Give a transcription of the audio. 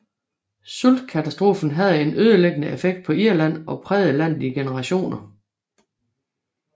Sultkatastrofen havde en ødelæggende effekt på Irland og prægede landet i generationer